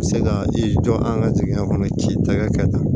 Se ka i jɔ an ka jamana kɔnɔ ci tɛ kɛ tan